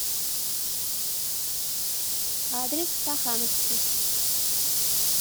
адрес стахановский